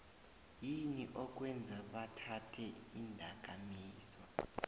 yini okwenza bathathe indakamizwa